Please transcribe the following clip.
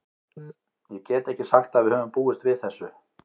Ég get ekki sagt að við höfum búist við þessu.